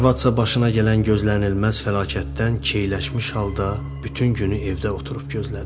Arvadsa başına gələn gözlənilməz fəlakətdən keyləşmiş halda bütün günü evdə oturub gözlədi.